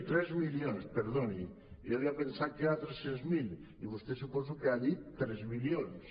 tres milions perdoni jo havia pensat que eren tres cents mil i vostè suposo que ha dit tres milions